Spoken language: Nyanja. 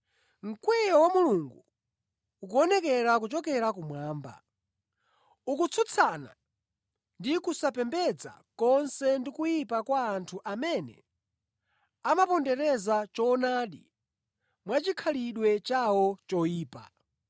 Mkwiyo wa Mulungu ukuonekera kuchokera kumwamba. Ukutsutsana ndi kusapembedza konse ndi kuyipa kwa anthu amene amapondereza choonadi mwa chikhalidwe chawo choyipa.